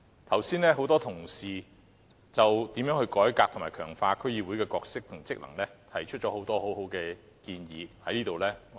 剛才很多同事就如何改革和強化區議會的角色和職能，提出了很多很好的建議。